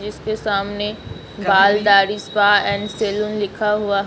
इसके सामने बाल दाढ़ी स्पा एंड सैलून लिखा हुआ है।